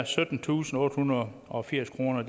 syttentusinde og ottehundrede og firs kroner